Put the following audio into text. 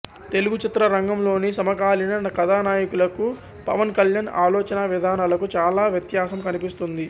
తెలుగు చిత్ర రంగంలోని సమకాలీన కథానాయకులకు పవన్ కళ్యాణ్ ఆలోచనా విధానాలకు చాలా వ్యత్యాసం కనిపిస్తుంది